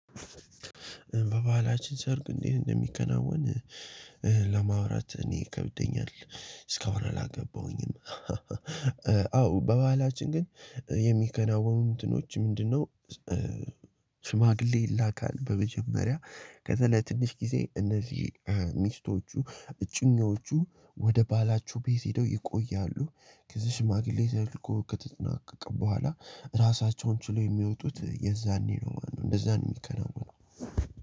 በባህላችን ሰርግ እንዴት እንደሚከናወን ለማውራት እኔ ይከብደኛል እስከሆነ አላገባሁኝም። አዎ በባህላችን ግን የሚከናወኑ እንትኖች ምንድነው? ስማግሌ ይላካል በመጀመሪያ ከዛ ለትንሽ ጊዜ እነዚህ ሚስቶቹ እጩኞቹ ወደ ባላቸው ቤት ሄደው ይቆያሉ። ከዚህ ሽማግሌ ተልኮ ከተጠናቀቀ በኋላ ራሳቸውን ችለው የሚወጡት የዛኔ ነው ማለት ነው። እንደዛን የሚከናወነው።